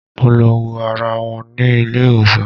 Mo lọ wọn ara mi wò ní ilé-ìwòsàn